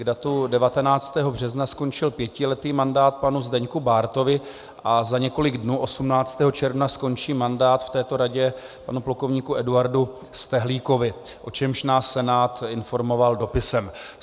K datu 19. března skončil pětiletý mandát panu Zdeňku Bártovi a za několik dnů 18. června skončí mandát v této radě panu plukovníku Eduardu Stehlíkovi, o čemž nás Senát informoval dopisem.